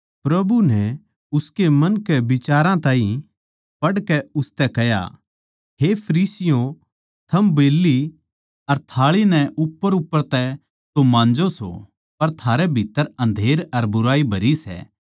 प्रभु नै उसके मन के बिचारां ताहीं पढ़कै उसतै कह्या हे फरीसियों थम बेल्ली अर थाळी नै उप्परउप्पर तै तो माँजो सो पर थारै भीत्त्तर अँधेरा अर बुराई भरी सै